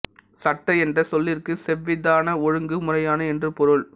சட்ட என்ற சொல்லிற்கு செவ்விதான ஒழுங்கு முறையான என்று பொருள்